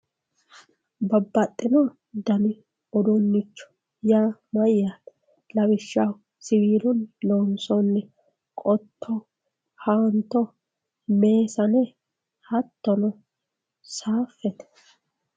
Babbaxxino dani uduuncho yaa mayyate lawishshaho siwilunni loonsonitta qotto, haanto messane hattono safete